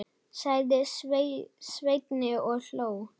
sagði Svenni og hló.